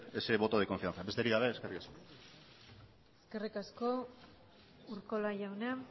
ese voto de confianza besterik gabe eskerrik asko eskerrik asko urkola jauna